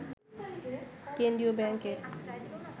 কেন্দ্রীয় ব্যাংকের